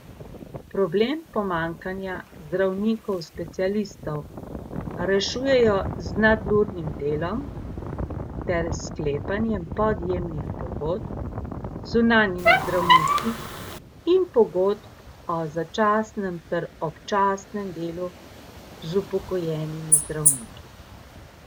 Problem pomanjkanja zdravnikov specialistov rešujejo z nadurnim delom ter s sklepanjem podjemnih pogodb z zunanjimi zdravniki in pogodb o začasnem ter občasnem delu z upokojenimi zdravniki.